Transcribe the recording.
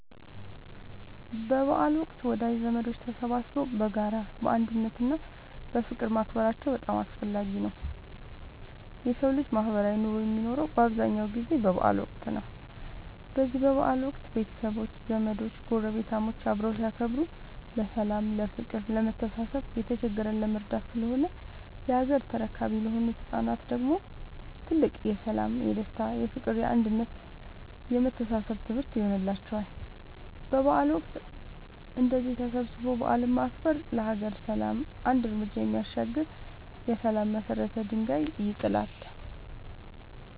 በበዓል ወቅት ወዳጅ ዘመዶች ተሰባስበው በጋራ፣ በአንድነት እና በፍቅር ማክበራቸው በጣም አስፈላጊ ነው የሠው ልጅ ማህበራዊ ኑሮ የሚኖረው በአብዛኛው ጊዜ በበዓል ወቅት ነው። በዚህ በበዓል ወቅት ቤተሰቦች፣ ዘመዶች ጐረቤታሞች አብረው ሲያከብሩ ለሠላም፤ ለፍቅር፣ ለመተሳሰብ፣ የተቸገረን ለመርዳት ስለሆነ የሀገር ተረካቢ ለሆኑት ለህፃናት ደግሞ ትልቅ የሠላም፣ የደስታ፣ የፍቅር፣ የአንድነት የመተሳሰብ ትምህርት ይሆንላቸዋል። በበዓል ወቅት እንደዚህ ተሰባስቦ በዓልን ማክበር ለሀገር ሰላም አንድ ርምጃ የሚያሻግር የሠላም የመሰረት ድንጋይ ይጥላል።